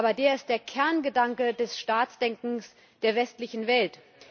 Aber der ist der Kerngedanke des Staatsdenkens der westlichen Welt.